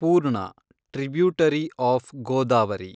ಪೂರ್ಣ, tributary of Godavari